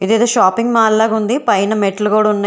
ఇది ఏదో shopping mall లాగా ఉంది పైన మెట్లు కూడా ఉన్నాయ్